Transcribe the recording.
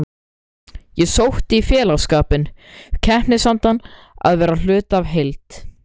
Ég sótti í félagsskapinn, keppnisandann, að vera hluti af heild.